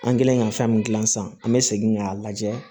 An kɛlen ka fɛn min gilan san an bɛ segin k'a lajɛ